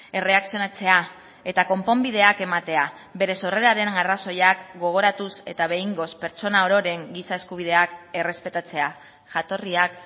erreakzionatzea eta konponbideak ematea bere sorreraren arrazoiak gogoratuz eta behingoz pertsona ororen giza eskubideak errespetatzea jatorriak